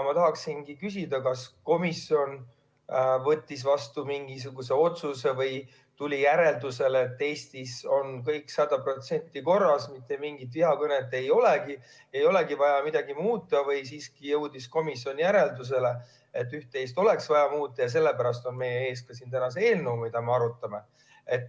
Ma tahangi küsida, kas komisjon võttis vastu mingisuguse otsuse või tuli järeldusele, et Eestis on kõik 100% korras ja mitte mingit vihakõnet meil ei ole ja ei olegi vaja midagi muuta, või jõudis komisjon järeldusele, et üht-teist oleks siiski vaja muuta ja sellepärast on meie ees täna ka see eelnõu, mida me arutame.